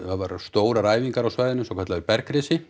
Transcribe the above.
stórar æfingar á svæðinu svokallaður